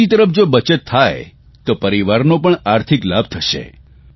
બીજી તરફ જો બચત થાય તો પરિવારનો પણ આર્થિક લાભ થશે